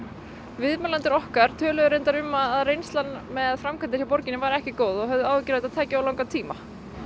viðmælendur okkar töluðu um að reynslan með framkvæmdir hjá borginni væri ekki góð og höfðu áhyggjur af þetta tæki of langan tíma